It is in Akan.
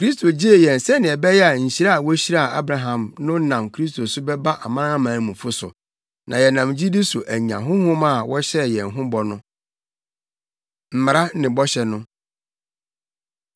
Kristo gyee yɛn sɛnea ɛbɛyɛ a nhyira a wohyiraa Abraham no nam Kristo so bɛba amanamanmufo so, na yɛnam gyidi so anya Honhom a wɔhyɛɛ yɛn ho bɔ no. Mmara Ne Bɔhyɛ No